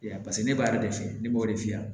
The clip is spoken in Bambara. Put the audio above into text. Yan paseke ne b'a de fɛ ne b'o de f'i ɲɛna